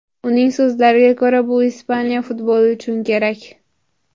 Uning so‘zlariga ko‘ra, bu Ispaniya futboli uchun kerak.